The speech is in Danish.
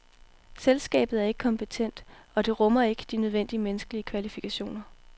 Selskabet er ikke kompetent, og rummer ikke de nødvendige menneskelige kvalifikationer.